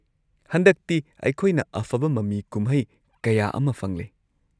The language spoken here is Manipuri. ꯍꯟꯗꯛꯇꯤ ꯑꯩꯈꯣꯏꯅ ꯑꯐꯕ ꯃꯃꯤ ꯀꯨꯝꯍꯩ ꯀꯌꯥ ꯑꯃ ꯐꯪꯂꯦ꯫